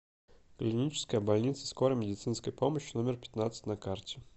клиническая больница скорой медицинской помощи номер пятнадцать на карте